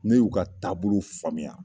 Ne y'u ka taabolo faamuya